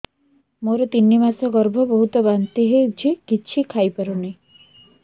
ମୋର ତିନି ମାସ ଗର୍ଭ ବହୁତ ବାନ୍ତି ହେଉଛି କିଛି ଖାଇ ପାରୁନି